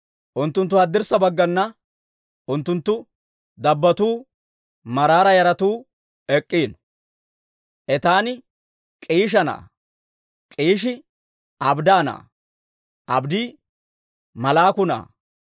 Unttunttuppe haddirssa bagganna unttunttu dabbotuu, Maraara yaratuu ek'k'iino. Etaani K'iisha na'aa; K'iishi Abdda na'aa; Abddi Malluuka na'aa;